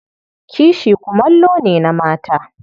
Kishi kumallo ne na mata.